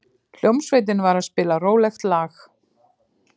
Hljómsveitin var að spila rólegt lag.